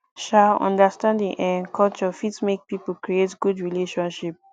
um understanding um culture fit make pipo create good relationship